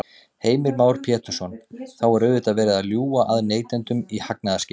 Heimir Már Pétursson: Þá er auðvitað verið að ljúga að neytendum í hagnaðarskyni?